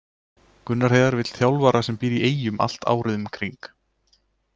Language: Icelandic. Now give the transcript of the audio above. Gunnar Heiðar vill þjálfara sem býr í Eyjum allt árið um kring.